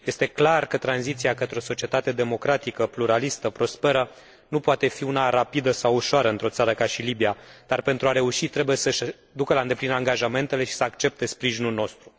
Este clar că tranziția către o societate democratică, pluralistă, prosperă nu poate fi una rapidă sau ușoară într o țară ca Libia, dar, pentru a reuși, trebuie să și ducă la îndeplinire angajamentele și să accepte sprijinul nostru.